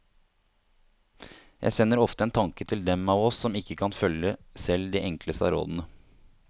Jeg sender ofte en tanke til dem av oss som ikke kan følge selv de enkleste av rådene.